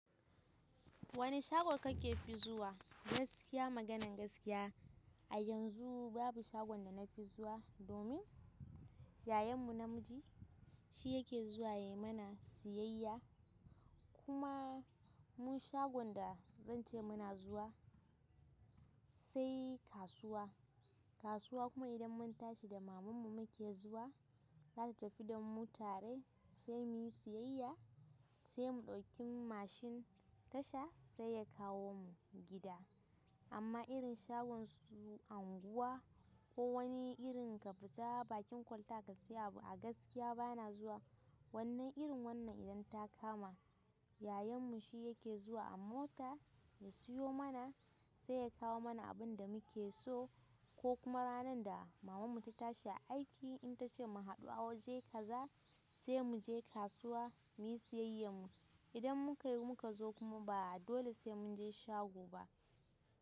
Wane shago kake fi zuwa? Gaskiya maganan gaskiya a yanzu babu shagon da na fi zuwa domin yayanmu namiji shi yake zuwa yai mana siyayya. Kuma mun shagon da zan ce muna zuwa sai kasuwa. Kasuwa kuma idan mun tashi da mamanmu muke zuwa, za ta tafi da mu tare sai muyi siyayya sai mu ɗauki mashin tasha sai ya kawo mu gida. Amma irin shagon su unguwa ko wani irn ka fita bakin kwalta ka siya abu gaskiya bana zuwa. Wannan irin wannan idan ta kama yayanmu shi yake zuwa a mota ya siyo mana sai ya kawo mana abin da muke so ko kuma ranar da mamanmu ta tashi aiki in ta ce mu haɗu a waje kaza sai mu je kasuwa muyi siyayyan mu. Idan muka yi muka zo kuma ba a dole sai mun je shago ba.